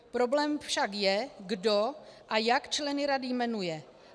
Problém však je, kdo a jak členy rady jmenuje.